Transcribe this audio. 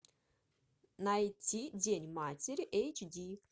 найти день матери эйч ди